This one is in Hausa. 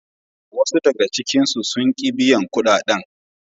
Wasu daga cikinsu sun ki biyan kudaden.